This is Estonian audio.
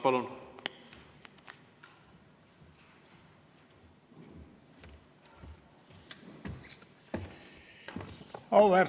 Palun!